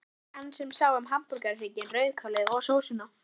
Það var hann sem sá um hamborgarhrygginn, rauðkálið og sósuna.